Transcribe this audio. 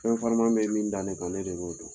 Fɛn farima bɛ min da ne kan ne de b'o dɔn.